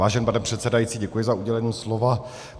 Vážený pane předsedající, děkuji za udělení slova.